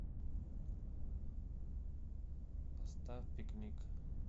поставь пикник